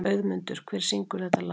Auðmundur, hver syngur þetta lag?